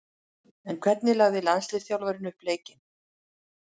En hvernig lagði landsliðsþjálfarinn upp leikinn?